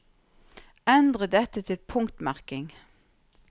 Endre dette til punktmerking